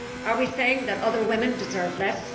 Are we saying that other women deserve less?